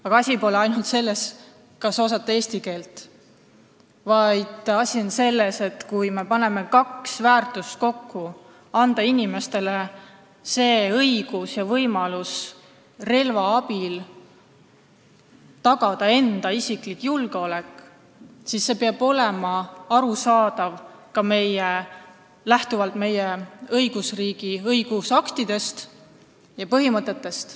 Aga asi pole ainult selles, kas osata eesti keelt, vaid asi on selles, et kui me paneme kokku kaks väärtust, andes inimestele õiguse ja võimaluse relva abil oma isiklikku julgeolekut tagada, siis see peab olema arusaadav ka lähtuvalt meie riigi kui õigusriigi õigusaktidest ja põhimõtetest.